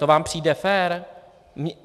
To vám přijde fér?